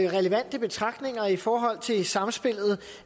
relevante betragtninger i forhold til samspillet